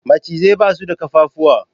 Macizai basu da kafafuwa